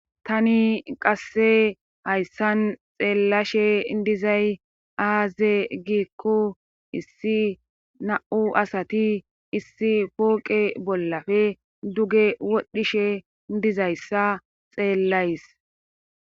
tani qasse hayssan xeellashe dizay aaze giikku issi na7u asati issi pooqe bollafe duge wodhishe dizayssa xeellays